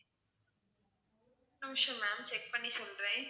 ஒரு நிமிஷம் ma'am check பண்ணி சொல்றேன்.